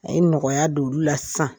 A ye nɔgɔyaya don olu la sisan!